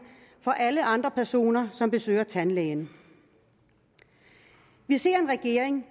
for alle andre personer som besøger tandlægen vi ser en regering